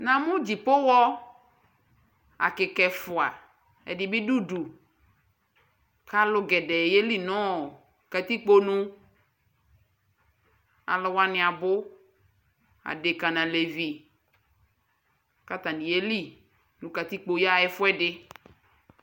Namʋ dzipoxɔ akɩka ɛfʋa Ɛdɩ bɩ dʋ udu kʋ alʋ gɛdɛɛ yeli nʋ katikpo nu Alʋ wanɩ abʋ Adekǝ nʋ alevi kʋ atanɩ yeli nʋ katikpo yaɣa ɛfʋ ɛdɩ